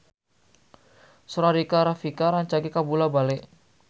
Sora Rika Rafika rancage kabula-bale